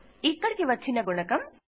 ఇక్కడ వచ్చిన గుణకం